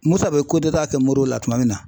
Musa bɛ kudɛta kɛ Moribo la tuma min na.